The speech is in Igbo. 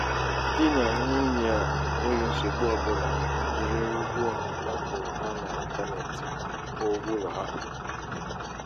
dị nà nwunye a n'enweghị nsogbu ọ bụla jiri ụgwọ a kwụrụ ha n'intanetị kwụọ ụgwọ ụlọ ha.